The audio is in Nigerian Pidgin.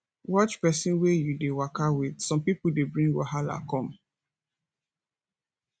watch person wey you dey waka with some pipo dey bring wahala come